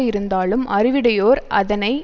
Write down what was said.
இருந்தாலும் அறிவிடையோர் அதனை